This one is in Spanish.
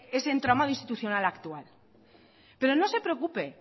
ese entramado institucional actual pero no se preocupe